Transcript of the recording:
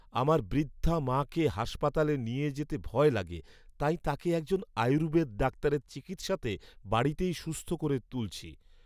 আমার বৃদ্ধা মাকে হাসপাতালে নিয়ে যেতে ভয় লাগে, তাই তাঁকে একজন আয়ুর্বেদ ডাক্তারের চিকিৎসাতে বাড়িতেই সুস্থ করে তুলছি।